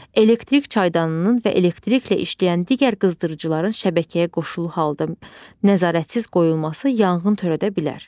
Elektrik çaydanının və elektriklə işləyən digər qızdırıcıların şəbəkəyə qoşulu halda nəzarətsiz qoyulması yanğın törədə bilər.